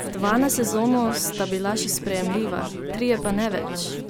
Dva na sezono sta bila še sprejemljiva, trije pa ne več.